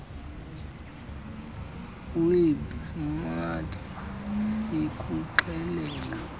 web smart sikuxelela